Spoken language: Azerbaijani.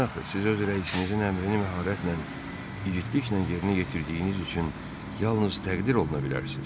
Niyə axı siz öz rəisinizin əmrini məharətlə, igidliklə yerinə yetirdiyiniz üçün yalnız təqdir oluna bilərsiz?